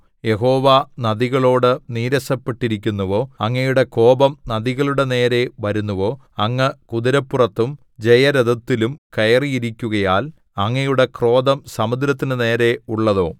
യഹോവ നദികളോട് നീരസപ്പെട്ടിരിക്കുന്നുവോ അങ്ങയുടെ കോപം നദികളുടെ നേരെ വരുന്നുവോ അങ്ങ് കുതിരപ്പുറത്തും ജയരഥത്തിലും കയറിയിരിക്കുകയാൽ അങ്ങയുടെ ക്രോധം സമുദ്രത്തിന്റെ നേരെ ഉള്ളതോ